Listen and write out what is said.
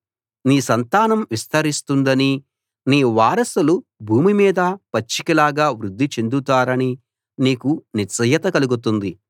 నీ సంతానం విస్తరిస్తుందనీ నీ వారసులు భూమి మీద పచ్చికలాగా వృద్ధి చెందుతారనీ నీకు నిశ్చయత కలుగుతుంది